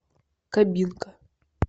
кабинка